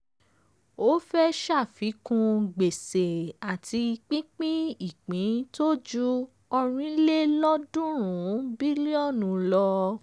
ó fẹ̀ ṣàfikún gbèsè àti pínpín ìpín tó ju ọ̀rìnlelọ́ọ̀dúnrún bílíọ̀nù lọ.